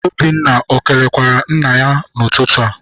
Obinna ekelekwara nna ya n'ụtụtụ a?